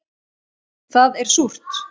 Það er súrt